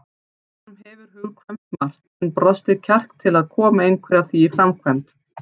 Honum hefur hugkvæmst margt en brostið kjark til að koma einhverju af því í framkvæmd.